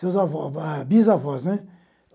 Seus avó, bisavós, né?